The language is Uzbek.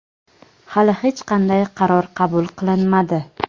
Hali hech qanday qaror qabul qilinmadi.